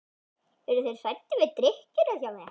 Eru þeir hræddir við drykkjuna hjá mér?